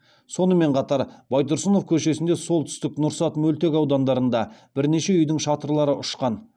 сонымен қатар байтұрсынов көшесінде солтүстік нұрсат мөлтек аудандарында бірнеше үйдің шатырлары ұшқан